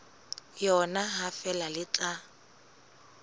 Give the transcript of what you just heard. yona ha feela le tla